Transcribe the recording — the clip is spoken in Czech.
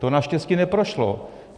To naštěstí neprošlo.